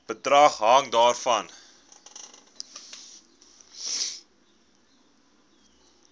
bedrag hang daarvan